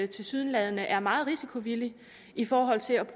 tilsyneladende er meget risikovillige i forhold til at